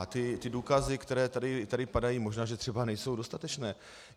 A ty důkazy, které tady padají, možná že třeba nejsou dostatečné.